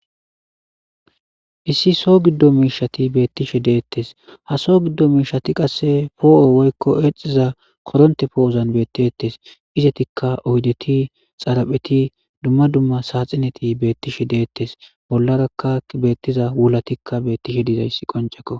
Issi so giddo miishati beettishe deettes ha so giddo miishati qasse poo7o woykko exiza koronte poo7ozan bettettes izetikka oydeti xarapheti dumma dumma saaxineti beettishe deettes bollarakka beettiza wulatikka beettishe dizayssi qoncekko